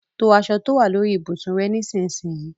To aṣọ tó wà lórí ibùsùn rẹ nísinsìnyí.